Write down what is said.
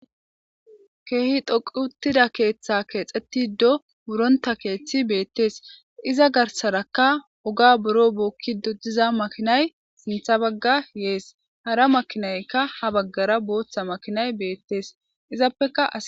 Keehi doqu uttida keeththa keexxeti do wuronta keeththi beettees iza garsaraka oga buro bookki do diza makinay sintha bagga yees hara makinaykka ha baggara booththa makinay beettees izappeka